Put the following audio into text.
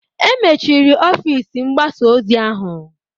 E mechiri ọfịs mgbasa ozi ahụ